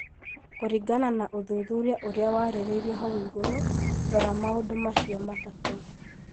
Kũringana na ũthuthuria ũrĩa warĩrĩirio hau igũrũ, rora maũndũ macio matatũ.